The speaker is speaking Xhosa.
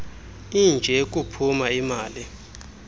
inje kuphuma ilima